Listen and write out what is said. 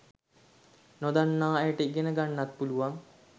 නොදන්න අයට ඉගෙන්න ගන්නත් පුලුවන්